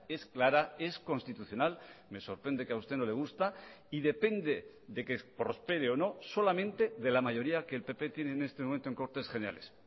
es clara es constitucional me sorprende que a usted no le gusta y depende de que prospere o no solamente de la mayoría que el pp tiene en este momento en cortes generales